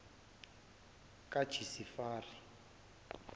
kajisifari